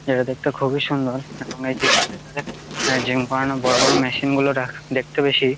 এটা দেখতে খুবই সুন্দর এবং এই জিম -টির ভেতরে জিম করানোর মেশিন গুলো রাখ দেখতে বেশি--